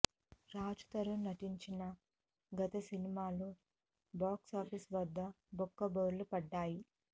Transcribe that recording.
రాజ్ తరుణ్ నటించిన గత సినిమాలు బాక్సాఫీస్ వద్ద బొక్క బోర్లా పడ్డాయి